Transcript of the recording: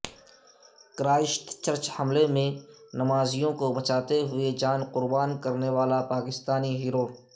Christ church حملے میں نمازیوں کو بچاتے ہوئے جان قربان کرنے والا پاکستانی ہیرو